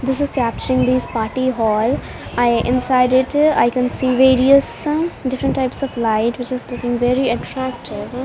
This is capturing this party hall i inside it i can see various some different types of light which is looking very attractive.